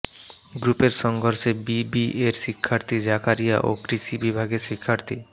গ্রুপের সংঘর্ষে বিবিএর শিক্ষার্থী জাকারিয়া ও কৃষি বিভাগের শিক্ষার্থী